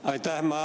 Aitäh!